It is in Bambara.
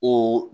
O